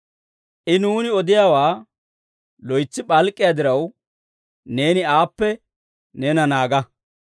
I nuuni odiyaawaa loytsi p'alk'k'iyaa diraw, neeni aappe neena naaga.